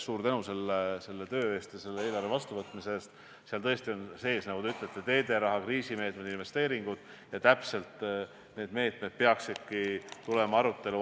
Kõigepealt ma avaldan lootust, et selle esimese küsimuse taustal ei ilmu järgmine kord Kesknädalas mullikest, kui palju Keskerakonna valitsusliikmed Ida-Virumaale raha tõid.